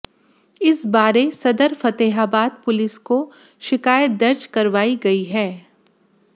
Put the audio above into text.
इस बारे सदर फतेहाबाद पुलिस को शिकायत दर्ज करवाई गई है